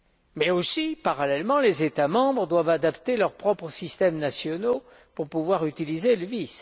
Mais, parallèlement, les États membres doivent aussi adapter leurs propres systèmes nationaux pour pouvoir utiliser le VIS.